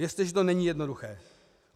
Věřte, že to není jednoduché.